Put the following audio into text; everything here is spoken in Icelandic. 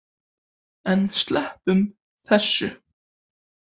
En sleppum þessu!